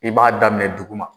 I b'a daminɛ duguma